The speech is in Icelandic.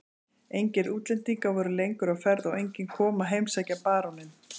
Engir útlendingar voru lengur á ferð og enginn kom að heimsækja baróninn.